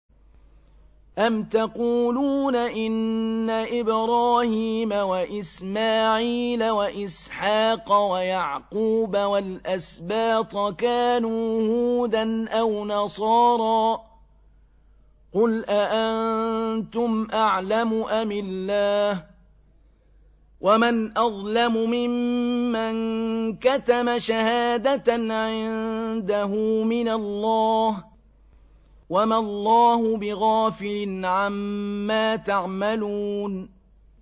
أَمْ تَقُولُونَ إِنَّ إِبْرَاهِيمَ وَإِسْمَاعِيلَ وَإِسْحَاقَ وَيَعْقُوبَ وَالْأَسْبَاطَ كَانُوا هُودًا أَوْ نَصَارَىٰ ۗ قُلْ أَأَنتُمْ أَعْلَمُ أَمِ اللَّهُ ۗ وَمَنْ أَظْلَمُ مِمَّن كَتَمَ شَهَادَةً عِندَهُ مِنَ اللَّهِ ۗ وَمَا اللَّهُ بِغَافِلٍ عَمَّا تَعْمَلُونَ